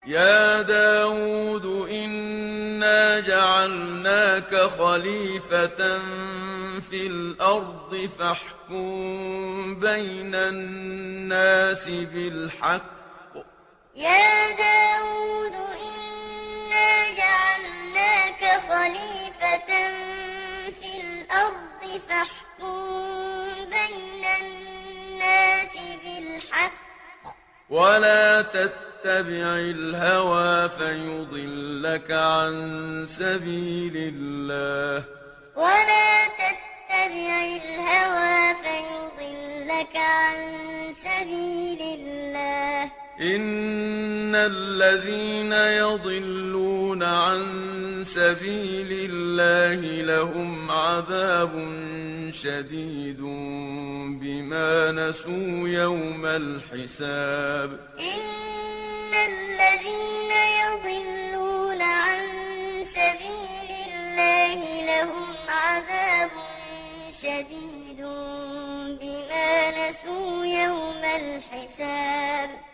يَا دَاوُودُ إِنَّا جَعَلْنَاكَ خَلِيفَةً فِي الْأَرْضِ فَاحْكُم بَيْنَ النَّاسِ بِالْحَقِّ وَلَا تَتَّبِعِ الْهَوَىٰ فَيُضِلَّكَ عَن سَبِيلِ اللَّهِ ۚ إِنَّ الَّذِينَ يَضِلُّونَ عَن سَبِيلِ اللَّهِ لَهُمْ عَذَابٌ شَدِيدٌ بِمَا نَسُوا يَوْمَ الْحِسَابِ يَا دَاوُودُ إِنَّا جَعَلْنَاكَ خَلِيفَةً فِي الْأَرْضِ فَاحْكُم بَيْنَ النَّاسِ بِالْحَقِّ وَلَا تَتَّبِعِ الْهَوَىٰ فَيُضِلَّكَ عَن سَبِيلِ اللَّهِ ۚ إِنَّ الَّذِينَ يَضِلُّونَ عَن سَبِيلِ اللَّهِ لَهُمْ عَذَابٌ شَدِيدٌ بِمَا نَسُوا يَوْمَ الْحِسَابِ